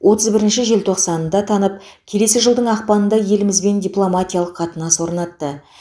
отыз бірінші желтоқсанында танып келесі жылдың ақпанында елімізбен дипломатиялық қатынас орнатты